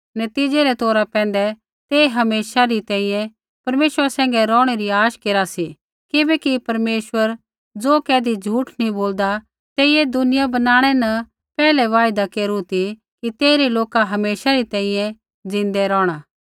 नतीज़ै रै तौरा पैंधै ते हमेशा री तैंईंयैं परमेश्वरा सैंघै रौहणै री आश केरा सी किबैकि परमेश्वर ज़ो कैधी झूठ नैंई बोलदा तेइयै दुनिया बनाणै न पैहलै वायदा केरू ती कि तेइरै लोका हमेशा री तैंईंयैं ज़िन्दै रौहणा